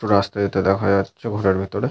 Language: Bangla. দুটো রাস্তা যেতে দেখা যাচ্ছে ঘরের ভেতরে।